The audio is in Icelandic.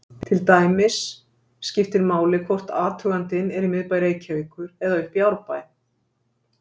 Til dæmis skiptir máli hvort athugandinn er í miðbæ Reykjavíkur eða uppi í Árbæ.